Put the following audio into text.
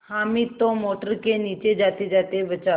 हामिद तो मोटर के नीचे जातेजाते बचा